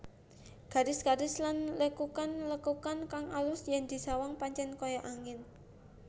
Garis garis lan lekukan lekukane kang alus yen disawang pancen kaya angin